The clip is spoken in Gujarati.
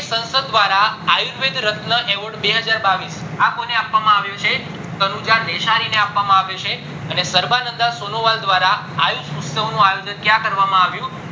સંસદ દ્વારા આયુર્વેદ રાતના award બે હજાર બાવીસ કોને આપવા માં આવ્યો છે તનુજા દેસાઈ ને આપવામાં આવ્યો છે અને સરવા નંદા સોનુવળ દ્વારા આયુષ ઉત્સવ નું આયોજન ક્યાં કરવામાં આવ્યું